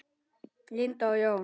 Linda og Jón.